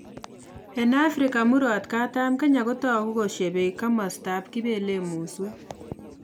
Eng Afrika murot katam Kenya kotoku koshepei kamashata kipele muswek